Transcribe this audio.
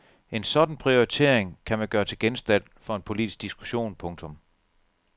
En sådan prioritering kan man gøre til genstand for en politisk diskussion. punktum